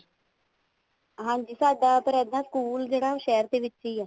ਹਾਂਜੀ ਪਰ ਸਾਡਾ ਇੱਦਾਂ ਜਿਹੜਾ ਸਕੂਲ ਆ ਉਹ ਸ਼ਹਿਰ ਦੇ ਵਿੱਚ ਹੀ ਆ